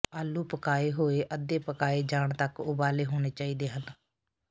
ਆਲੂ ਪਕਾਏ ਹੋਏ ਅੱਧੇ ਪਕਾਏ ਜਾਣ ਤੱਕ ਉਬਾਲੇ ਹੋਣੇ ਚਾਹੀਦੇ ਹਨ